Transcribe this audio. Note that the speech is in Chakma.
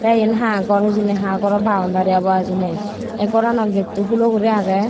te yen ha gor hijeni ha goro baundari obo hijeni ey gorano getto hulo guri agey.